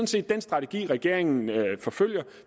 set den strategi regeringen forfølger og